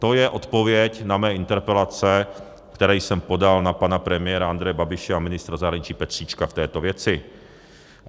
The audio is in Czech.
To je odpověď na mé interpelace, které jsem podal na pana premiéra Andreje Babiše a ministra zahraničí Petříčka v této věci.